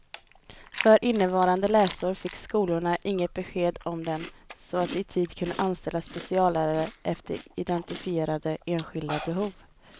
För innevarande läsår fick skolorna inget besked om den så att de i tid kunde anställa speciallärare efter identifierade enskilda behov.